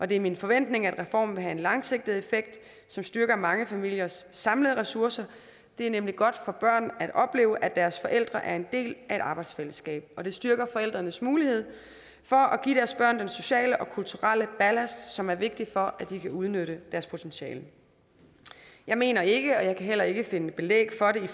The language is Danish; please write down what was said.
det er min forventning at reformen vil have en langsigtet effekt som styrker mange familiers samlede ressourcer det er nemlig godt for børn at opleve at deres forældre er en del af et arbejdsfællesskab det styrker forældrenes mulighed for at give deres børn den sociale og kulturelle ballast som er vigtig for at de kan udnytte deres potentiale jeg mener ikke og jeg kan heller ikke finde belæg for det